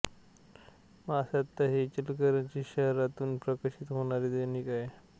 महासत्ता हे इचलकरंजी शहरातुन प्रकाशित होणारे दैनिक आहे